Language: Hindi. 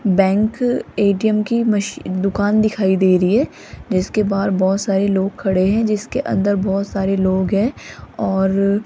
बैंक ए_टी_एम की मशी दुकान दिखाई दे रही है जिसके बाहर बोहोत सारे लोग खड़े हैं जिसके अंदर बोहोत सारे लोग हैं और --